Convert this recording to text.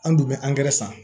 An dun bɛ san